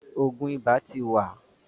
òògùn ibà tí wa.